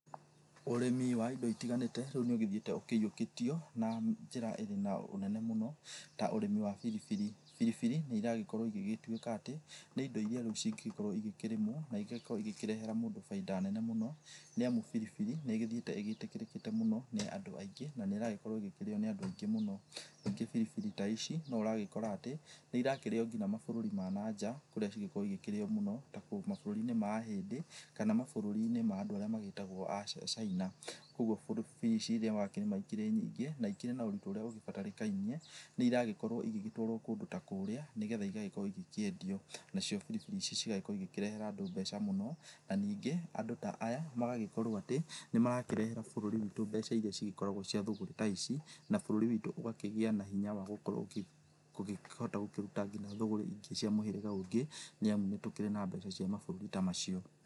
Ũrĩmĩ wa indo itiganĩte rĩu nĩ ũthiĩte ũkĩiyũkĩtio na njĩra ĩrĩ na ũnene mũno ta ũrĩmi wa biribiri ,biribiri nĩ ĩragĩkorwo igĩgĩtwĩka atĩ nĩ indo ĩrĩa cingĩgĩkorwo igĩkĩrĩmwo na igagĩkorwo ikĩrehera mũndũ baida nene mũno nĩ amũ biribiri nĩ ĩthiĩte ĩgĩtĩkĩrĩte mũno nĩ andũ aĩngĩ na nĩ ĩragĩkorwo ĩgĩkĩrĩo nĩ andũ aingĩ mũno ,ningĩ biribiri ta ici nĩ ũragĩkora atĩ nĩ ĩrakĩrĩo nginya mabũrũri ma nanja kũrĩa cigĩkoragwo igĩkĩrĩo mũno ta mabũrũri inĩ ma ahĩndĩ kana mabũrũriinĩ ma andũ arĩa magĩtagwo wa caina kũogũo biribiri irĩa ũrakĩrĩma ikĩrĩ nyingĩ na ikĩrĩ na ũritũ urĩa ũgĩbatarĩkanairie nĩ iragĩkorwo igĩtwarwo kũndũ ta kũrĩa nĩgetha igagĩkorwo ikĩendio na cio biribiri cigagĩkorwo igĩkĩrehera andũ mbeca mũno na ningĩ andũ ta aya magagĩkorwo atĩ nĩmarakĩrehera bũrũri witũ mbeca irĩa cigĩkoragwo ci cia thũgũrĩ ta ici na bũrũri wĩtũ ũgakĩgĩa na hinya wa gũkorwo ũgĩkĩhota ũgĩkorwo ũgĩkĩrũta thũgũrĩ ta ici cia mũhĩrĩga ũngĩ nĩ amũ nĩtũkĩrĩ na mbeca cia mabũrũri ta macio.